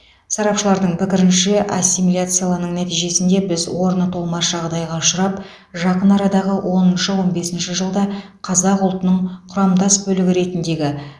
сарапшылардың пікірінше ассимиляциялың нәтижесінде біз орны толмас жағдайға ұшырап жақын арадағы оныншы он бесінші жылда қазақ ұлтының құрамдас бөлігі ретіндегі